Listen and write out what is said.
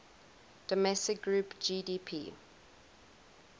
domestic product gdp